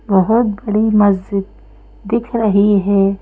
बहोत बड़ी मस्जिद दिख रही है।